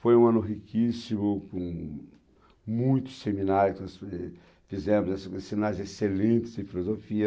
Foi um ano riquíssimo, com muitos seminários, que nós, fizemos esses seminários excelentes em Filosofia,